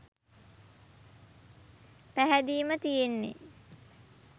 පැහැදීම තියෙන්නේ